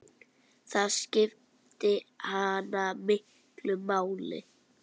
Það skipti hana miklu máli.